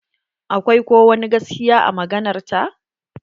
Akwai ko wani gaskiya a maganar ta?